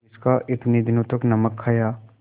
जिसका इतने दिनों तक नमक खाया